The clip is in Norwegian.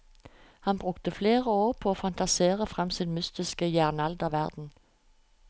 Han brukte flere år på å fantasere frem sin mytiske jernalderverden.